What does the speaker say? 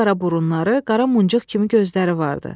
Qapqara burunları, qara muncuq kimi gözləri vardı.